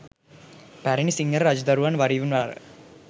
පැරැණි සිංහල රජදරුවන් වරින්වර